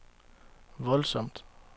voldsomt